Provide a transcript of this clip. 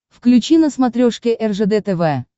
включи на смотрешке ржд тв